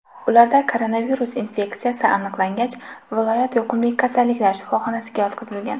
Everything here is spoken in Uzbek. Ularda koronavirus infeksiyasi aniqlangach, viloyat yuqumli kasalliklar shifoxonasiga yotqizilgan.